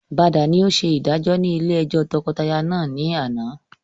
Bada ni ó ṣe ìdájọ́ ni ilé ẹjọ́ tọkọtaya náà ni àná